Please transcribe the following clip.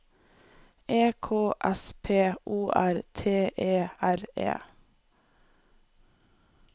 E K S P O R T E R E